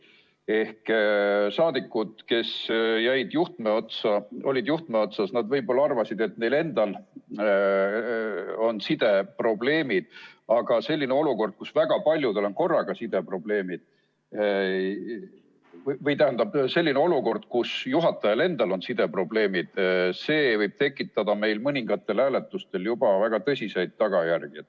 Ehk rahvasaadikud, kes olid juhtme otsas, nad võib-olla arvasid, et neil endal on sideprobleemid, aga selline olukord, kus juhatajal endal on sideprobleemid, võib tekitada meil mõningatel hääletustel juba väga tõsiseid tagajärgi.